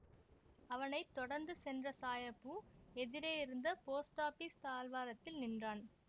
அவனை தொடர்ந்து சென்ற சாயபு எதிரேயிருந்த போஸ்டாபீஸ் தாழ்வாரத்தில் நின்றான்